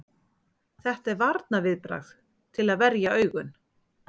Þetta er varnarviðbragð til að verja augun.